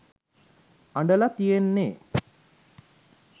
අඬල තියෙන්නෙ